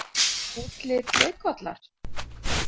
Útlit leikvallar?